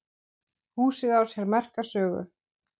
Húsið á sér merka sögu.